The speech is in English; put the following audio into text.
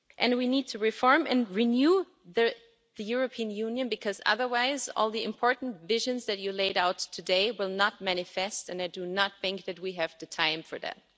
We need to reform and renew the European Union because otherwise all the important visions that you laid out today will not come about and I do not think that we have the time for that.